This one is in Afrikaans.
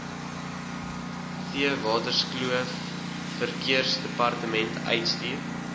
theewaterskloof verkeersdepartement uitstuur